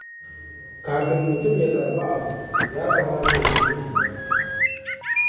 Kafin mutum ya karɓi abu, ya kamata ya yi tunani.